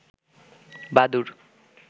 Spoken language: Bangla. বাদুর